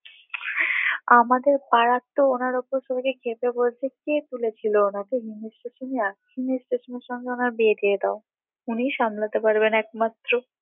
আমাদের পাড়াতো ওনার উপর ধরে ক্ষেপে পড়ছে কে তুলেছিল উনাকে হিমেশ রেশমিয়া হিমেশ রেশমিয়া সঙ্গে ওনার বিয়ে দিয়ে দাও উনি সামলাতে পারবেন একমাত্র